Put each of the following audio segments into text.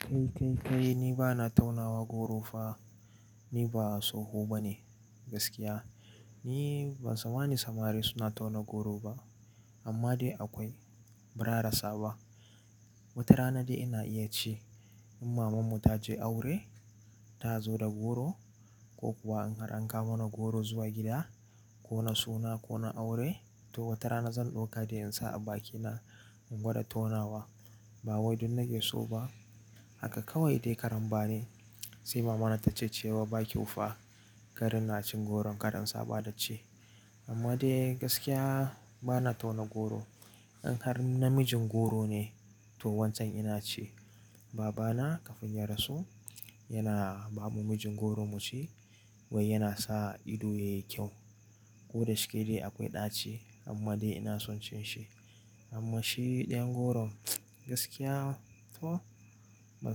Kai, kai, kai, ni ba na taunawa goro fa. Ni ba tsoho ba ne gaskiya. Ni ban samma nin samari suna tauna goro ba. Amma dai akwai, ba ra a rasa ba. Wata rana dai ina iya ci in mamanmu ta je aure ta zo da goro ko kuwa in har an kawo mana goro zuwa gida ko na suna ko na aure to wata rana zan ɗauka dai in sa a bakina in gwada tonawa. Ba wai dun na ke so ba. Haka kawai dai karan ba ne. Sai mamana ta ce cewa ba kyau fa kar ina cin goron kar in, saɓa da ci amma dai gaskiya ba na tauna goro. In har na mijin goro ne to wancan ina ci babana kafin ya rasu yana ba mu mijin goro mu ci wai yana sa ido yayi kyau. Ko da shike dai akwai ɗaci amma dai ina son cin shi. Amma shi ɗayan goron gaskiya to ban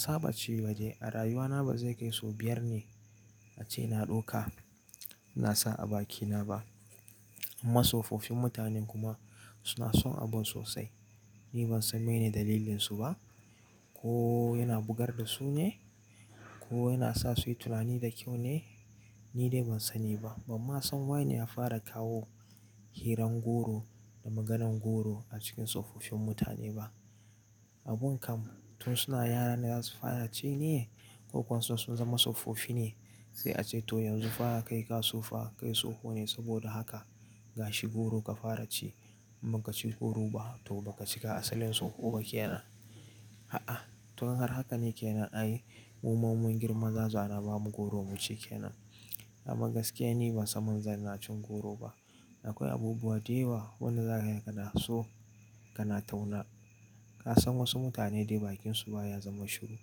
saba ci ba dai. A rayuwana ba zai kai sau biyar ne ace na ɗauka na sa a bakina ba. Amma tsofaffin mutane kuma suna son abun sosai. Ni ban san meye ne dalilinsu ba. Ko yana bugar da su ne ko yana sa su yi tunani da kyau ne? Ni dai ban sani ba. Ban ma san waye ne ya fara kawo hirar goro da maganan goro a cikin tsofaffin mutane ba. Abun kam tun suna yara ne za su fara ci ne ko kuwa sai sun zama tsofaffi ne sai a ce to yanzu fara kai ka tsufa, kai tsoho ne saboda haka gashi goro ka fara ci. Baka ci goro ba to baka cika asalin tsoho ba ke nan. A'a, tun har haka ne ke nan ai. Muma in mun girma za a zo a na ba mu goro mu ci ke nan. Amma gaskiya ni ban san ma zan na cin goro ba. Akwai abubuwa dayawa wanda za ka gani kana so kana tauna. Ka san wasu mutane dai bakinsu ba ya zama shiru.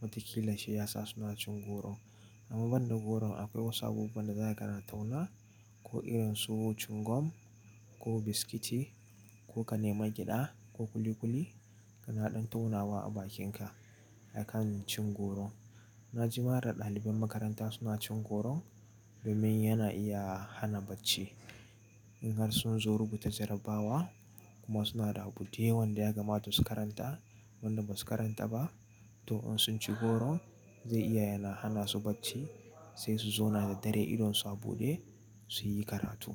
Wataƙila shi ya sa suna cin goro. Amma banda goron akwai wasu abubuwan da za kana tauna ko irin su cin gum ko biskiti ko ka nemi gyaɗa ko kuli-kuli kana ɗan taunawa a bakinka. Akan cin goro. Na ji ma ɗa ɗaliban makaranta suna cin goron domin yana iya hana bacci. In har sun zo rubuta jarabawa kuma suna da abu dai wanda ya kamata su karanta wanda ba su karanta ba to in sun ci goro zai iya yana hana su bacci sai su zauna da dare idonsu a buɗe su yi karatu.